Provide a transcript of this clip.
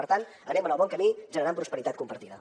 per tant anem en el bon camí generant prosperitat compartida